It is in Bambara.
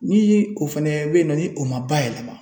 Ni ye o fɛnɛ bɛ yen nɔ ni o ma ba yɛlɛma